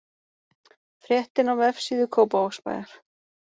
Fréttin á vefsíðu Kópavogsbæjar